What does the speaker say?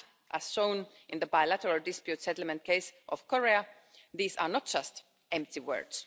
As shown in the bilateral dispute settlement case of Korea, these are not just empty words.